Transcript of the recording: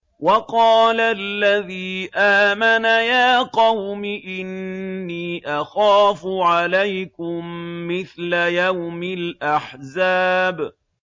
وَقَالَ الَّذِي آمَنَ يَا قَوْمِ إِنِّي أَخَافُ عَلَيْكُم مِّثْلَ يَوْمِ الْأَحْزَابِ